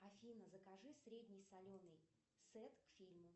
афина закажи средне соленый сет к фильму